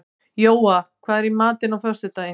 Jóa, hvað er í matinn á föstudaginn?